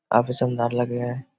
काफ़ी सुन्दर लगे है।